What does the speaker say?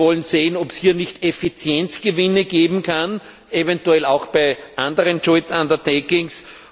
Wir wollen sehen, ob es hier nicht Effizienzgewinne geben kann, eventuell auch bei anderen joint undertakings